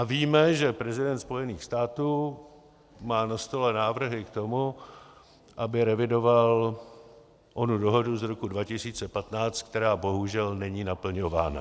A víme, že prezident Spojených států má na stole návrhy k tomu, aby revidoval onu dohodu z roku 2015, která bohužel není naplňována.